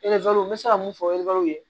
n bɛ se ka mun fɔ ye